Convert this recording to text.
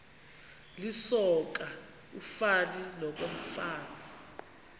lisoka ufani nokomfazi